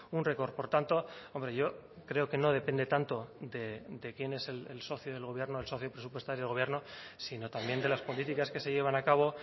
un récord por tanto hombre yo creo que no depende tanto de quién es el socio del gobierno el socio presupuestario del gobierno sino también de las políticas que se llevan a cabo